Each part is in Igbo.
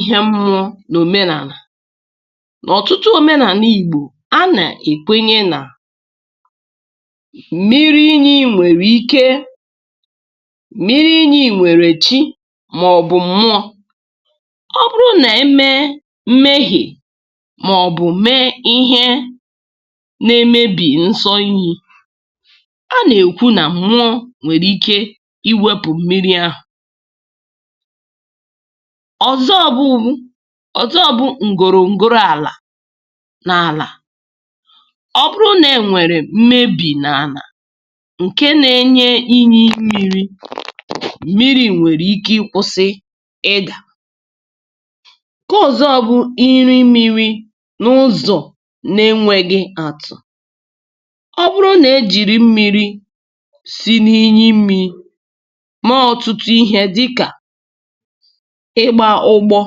nwekwara nkwenkwe omenala. N’omenala ndị Igbo, a na-asị na inyi nwere chi nke ha maọbụ mmụọ nke ha. Ọ bụrụ na emebeghị emume dị mkpa, um maọbụ e mere ihe na-emebi nsọ nke mmiri ahụ, a kwenyere na mmụọ nwere ike iwepụ mmiri ahụ. Ihe ọzọ nwere ike ịbụ nkwụsị ala. Mgbe ala dị gburugburu ebe mmiri si apụta emerụtala nke ukwuu, um inyi ahụ nwere ike tufuo nkwado ya wee kwụsị ịpụta. N’ikpeazụ, iji mmiri eme ihe n’enweghị oke nwekwara ike ime ka inyi kwụsị. Ọ bụrụ na e ji mmiri si n’ebe ahụ eme ihe ugboro ugboro n’enweghị njikwa, dịka maka iwuli ụlọ, maka ọrụ ugbo,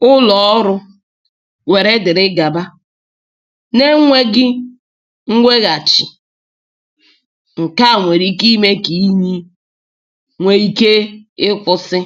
maọbụ maka ihe ndị a na-eji eme kwa ụbọchị, um inyi ahụ nwere ike mechie kpamkpam.